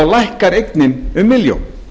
lækkar eignin um milljón